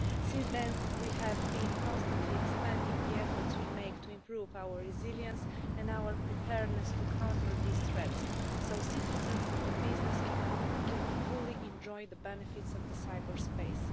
Since then, we have been constantly expanding the efforts we make to improve our resilience and our preparedness to counter these threats, so that citizens and businesses can fully enjoy the benefits of cyberspace.